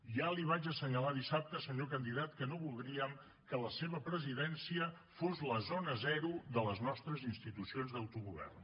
ja li vaig assenyalar dissabte senyor candidat que no voldríem que la seva presidència fos la zona zero de les nostres institucions d’autogovern